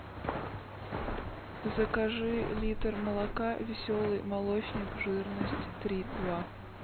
закажи литр молока веселый молочник жирность три и два